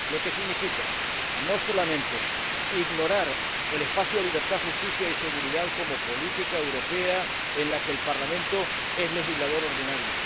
Esto significa no solamente ignorar el espacio de libertad, justicia y seguridad como política europea en la que el Parlamento es legislador ordinario